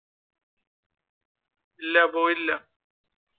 ഇല്ല പോയില്ല.